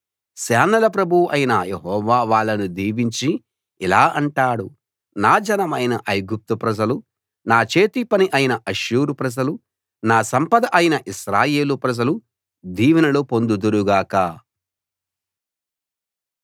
సేనల ప్రభువు అయిన యెహోవా వాళ్ళను దీవించి ఇలా అంటాడు నా జనమైన ఐగుప్తు ప్రజలు నా చేతి పని అయిన అష్షూరు ప్రజలు నా సంపద అయిన ఇశ్రాయేలు ప్రజలు దీవెనలు పొందుదురు గాక